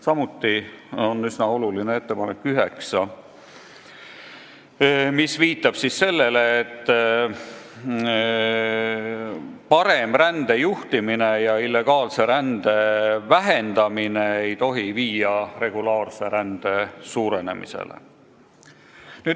Samuti on üsna oluline ettepanek nr 9, mis viitab sellele, et parem rände juhtimine ja illegaalse rände vähendamine ei tohi viia regulaarse rände suurenemisele.